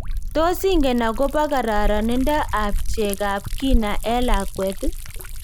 Tos ingen akobo kararaninda ab chekab kina en lakwet?